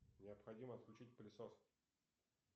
необходимо включить пылесос